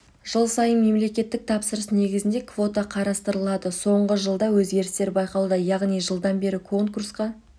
жыл сайын мемлекеттік тапсырыс негізінде квота қарастырылады соңғы жылда өзгерістер байқалуда яғни жылдан бері конкурсқа